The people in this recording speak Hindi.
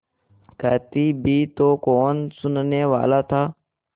कहती भी तो कौन सुनने वाला था